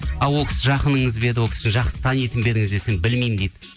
ол кісі жақыныңыз ба еді ол кісі жақсы танитын ба едіңіз десем білмеймін дейді